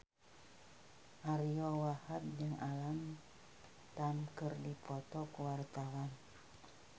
Ariyo Wahab jeung Alam Tam keur dipoto ku wartawan